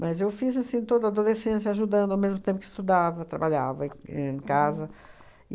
Mas eu fiz assim toda a adolescência ajudando ao mesmo tempo que estudava, trabalhava em casa.